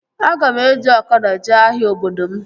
Aga m eji ọkada jee ahịa obodo m